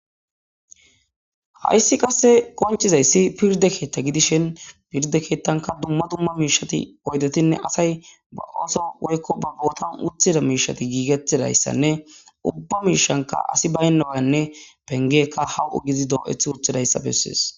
hayssi qasse qonchizayssi pirde keetta gidishin pirde keettanka dumma dumma miishati oydetinne asay ba ooso woykko babbootan uthida miishati giigettidayssanne ubba miishanka asi baynawanne pengekka hawu7o gizi doo7eth urthidayssa bessees